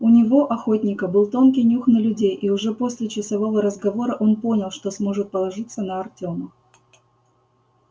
у него охотника был тонкий нюх на людей и уже после часового разговора он понял что сможет положиться на артёма